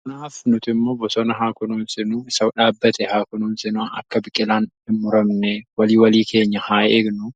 Kanaafuu nuti immoo bosona haa kunuunsinu. isa dhaabbate haa kunuunsinu akka biqilaan hin muramne walii walii keenya haa eegnu